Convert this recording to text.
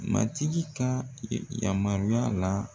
Matigi ka yamaruya la